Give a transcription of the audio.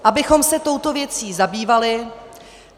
... abychom se touto věcí zabývali.